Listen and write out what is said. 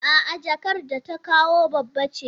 A'a jakar da ta kawo babba ce.